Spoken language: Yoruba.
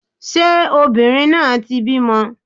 Ṣé obìnrin náà ti bímọ?